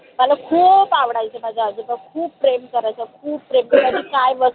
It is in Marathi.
मला खूप आवडायचे माझे आजोबा खूप प्रेम करायचे खूप प्रेम करायचे